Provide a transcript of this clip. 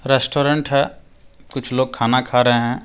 Restaurant है कुछ लोग खाना खा रहे हैं।